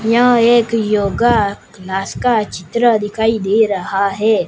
यह एक yoga class का चित्र दिखाई दे रहा है।